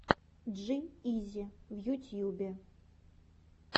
джи изи в ютьюбе